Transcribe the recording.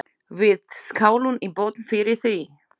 Við skálum í botn fyrir því.